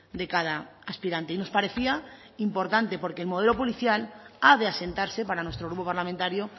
de cada aspirante y nos parecía importante porque el modelo policial ha de asentarse para nuestro grupo parlamentario